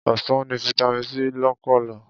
Ọsàn ní Vitamin C lọ́pọ̀lọ̀.